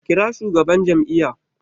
Kira shugaban jam'iyya!